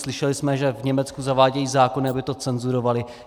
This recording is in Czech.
Slyšeli jsme, že v Německu zavádějí zákon, aby to cenzurovali.